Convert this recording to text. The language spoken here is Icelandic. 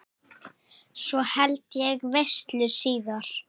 Svo held ég veislu síðar.